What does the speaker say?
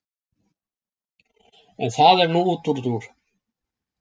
En það er nú útúrdúr.